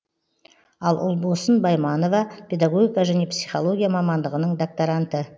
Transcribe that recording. ал ұлбосын байманова педагогика және психология мамандығының докторанты